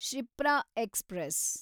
Shipra express